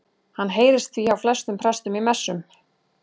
Hann heyrist því hjá flestum prestum í messum.